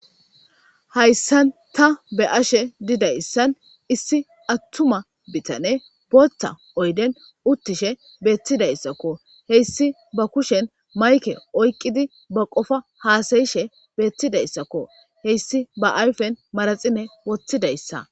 Hayssan ta be ashe didayssan issi attuma bitane bota oyden uttishe beettidayssakko heyssi ba kushen mayke oyqqidi ba qofa haasayishe beettidayssakko heyssi ba ayfen maraxine wottidayssa.